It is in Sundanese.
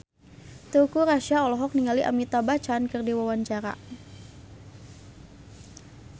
Teuku Rassya olohok ningali Amitabh Bachchan keur diwawancara